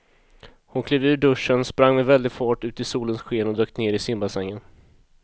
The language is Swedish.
Hon klev ur duschen, sprang med väldig fart ut i solens sken och dök ner i simbassängen.